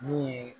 Min ye